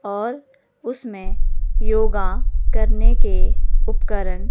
और उसमें योगा करने के उपकरण--